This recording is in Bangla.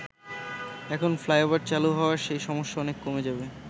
এখন ফ্লাইওভার চালু হওয়ায় সেই সমস্যা অনেক কমে যাবে।